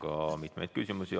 Teile on ka mitu küsimust.